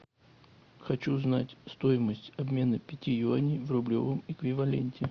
хочу знать стоимость обмена пяти юаней в рублевом эквиваленте